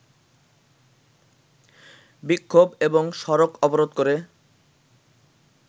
বিক্ষোভ এবং সড়ক অবরোধ করে